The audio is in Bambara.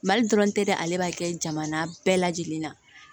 Mali dɔrɔn tɛ dɛ ale b'a kɛ jamana bɛɛ lajɛlen na